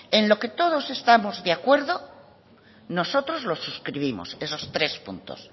en lo que todos estamos de acuerdo nosotros lo suscribimos esos tres puntos